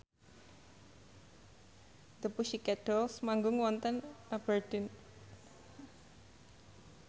The Pussycat Dolls manggung wonten Aberdeen